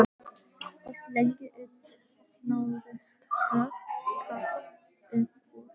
Of lengi uns það náðist hrollkalt upp úr